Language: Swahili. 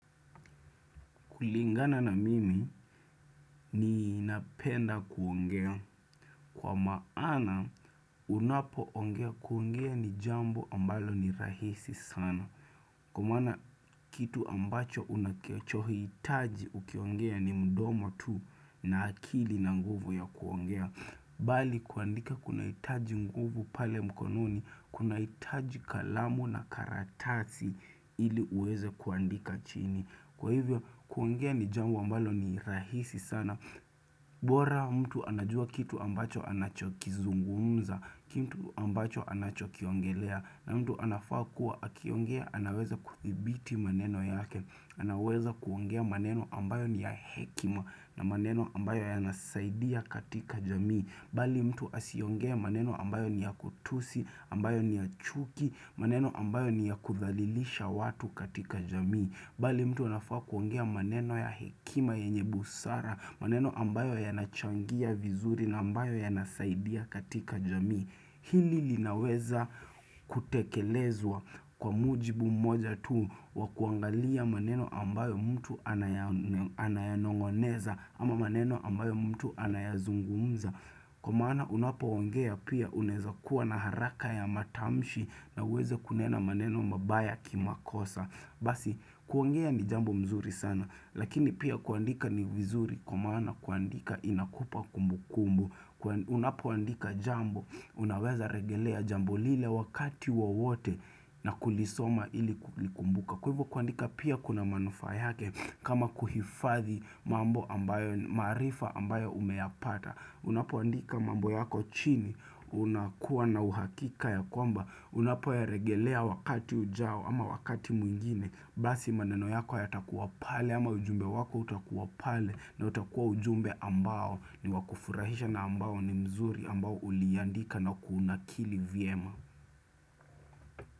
Kulingana na mimi ninapenda kuongea kwa maana unapoongea kuongea ni jambo ambalo ni rahisi sana. Kwa maana kitu ambacho unachohitaji ukiongea ni mdomo tu na akili na nguvu ya kuongea. Bali kuandika kuna hitaji nguvu pale mkononi, kunahitaji kalamu na karatasi ili uweze kuandika chini. Kwa hivyo kuongea ni jambo ambalo ni rahisi sana bora mtu anajua kitu ambacho anachokizungumza Kitu ambacho anachokiongelea na mtu anafaa kuwa akiongea anaweza kudhibiti maneno yake anaweza kuongea maneno ambayo ni ya hekima na maneno ambayo yanasaidia katika jamii Bali mtu asiongee maneno ambayo ni ya kutusi ambayo ni ya chuki maneno ambayo ni ya kudhalilisha watu katika jamii bali mtu anafaa kuongea maneno ya hekima yenye busara, maneno ambayo yanachangia vizuri na ambayo yanasaidia katika jamii. Hili linaweza kutekelezwa kwa mujibu mmoja tu wa kuangalia maneno ambayo mtu anayanong'oneza ama maneno ambayo mtu anayazungumza. Kwa maana unapoongea pia unaeza kuwa na haraka ya matamshi na uweze kunena maneno mabaya kimakosa. Basi kuongea ni jambo nzuri sana lakini pia kuandika ni vizuri kwa maana kuandika inakupa kumbukumbu Unapoandika jambo unaweza regelea jambo lile wakati wowote na kulisoma ili kulikumbuka Kwa hivo kuandika pia kuna manufaa yake kama kuhifadhi mambo ambayo maarifa ambayo umeyapata Unapoandika mambo yako chini unakuwa na uhakika ya kwamba Unapoyaregelea wakati ujao ama wakati mwingine Basi maneno yako yatakuwa pale ama ujumbe wako utakuwa pale na utakuwa ujumbe ambao ni wa kufurahisha na ambao ni mzuri ambao uliandika na kuunakili vyema.